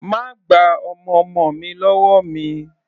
Má gba ọmọ ọmọ mi lọ́wọ́ mi!